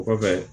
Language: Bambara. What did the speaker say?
O kɔfɛ